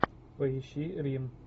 поищи рим